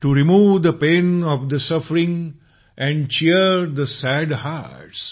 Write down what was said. to remove the pain of the suffering and cheer the sad heart स